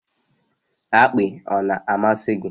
Akpị ọ na-amasị gị?